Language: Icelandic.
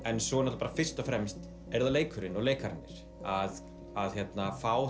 en svo er það fyrst og fremst leikurinn og leikararnir að fá